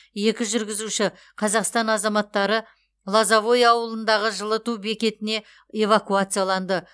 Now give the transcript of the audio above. екі жүргізуші қазақстан азаматтары лозовое ауылындағы жылыту бекетіне эвакуацияланды